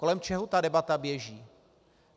Kolem čeho ta debata běží?